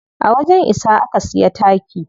A wajen isa aka siya taki.